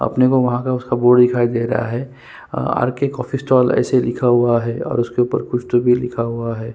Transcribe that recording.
अपने को वहाँ पे उसका बोर्ड दिखाई दे रहा है आर_के कॉफ़ी स्टॉल ऐसे लिखा हुआ है और उसके ऊपर कुछ तो भी लिखा हुआ है ।